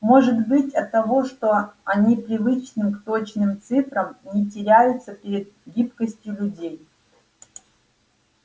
может быть оттого что они привычны к точным цифрам не теряются перед гибкостью людей